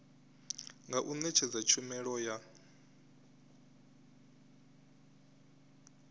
nga u netshedza tshumelo ya